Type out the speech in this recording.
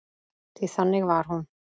Því þannig var hún.